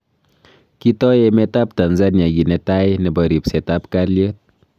Kitoi emet ab Tnzania ki netai nebo ribset ab kaliet.